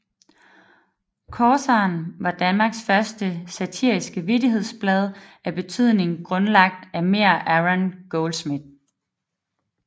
Corsaren var Danmarks første satiriske vittighedsblad af betydning grundlagt af Meïr Aron Goldschmidt